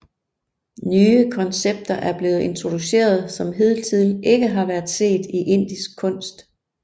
Nye koncepter er blevet introduceret som hidtil ikke har været set i indisk kunst